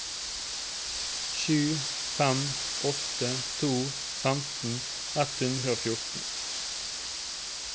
sju fem åtte to femten ett hundre og fjorten